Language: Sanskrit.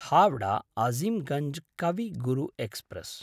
हाव्डा आजिम्गञ्ज् कवि गुरु एक्स्प्रेस्